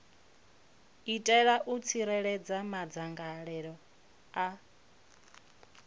itela u tsireledza madzangalelo a